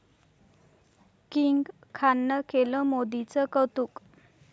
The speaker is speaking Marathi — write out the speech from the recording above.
किंग खाननं केलं मोदींचं कौतुक